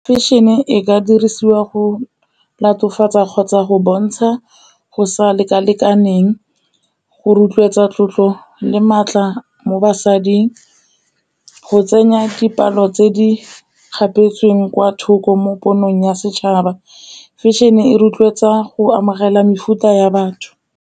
Fashion-e e ka dirisiwa go latofatsa kgotsa go bontsha go sa lekalekaneng, go rotloetsa tlotlo le maatla mo basading, go tsenya dipalo tse di kgapetsweng kwa thoko mo ponong ya setšhaba, fashion-e e rotloetsa go amogela mefuta ya batho.